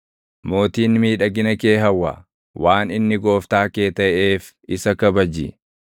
Mootiin miidhagina kee hawwa; waan inni gooftaa kee taʼeef isa kabaji.